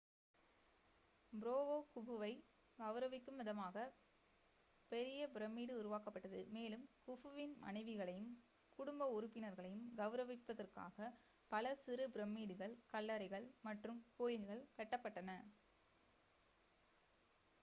ஃபராவோ குஃபுவை கௌரவிக்கும் விதமாக பெரிய பிரமிடு உருவாக்கப்பட்டது மேலும் குஃபுவின் மனைவிகளையும் குடும்ப உறுப்பினர்களையும் கௌரவிப்பதற்காக பல சிறு பிரமிடுகள் கல்லறைகள் மற்றும் கோயில்கள் கட்டப்பட்டன